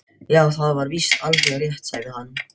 Já, það er víst alveg rétt sagði hann.